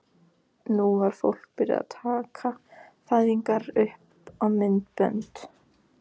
Nú var fólk byrjað að taka fæðingar upp á myndbönd.